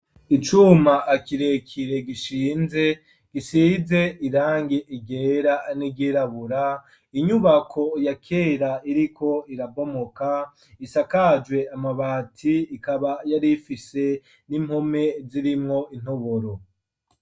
Icuma akirekire gishinze gisize irangi ryera n'iryirabura inyubako ya kera iriko irabomoka isakajwe amabati ikaba yari fishe n'impome zirimwo intoboro.